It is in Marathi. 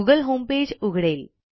गुगल होमपेज उघडेल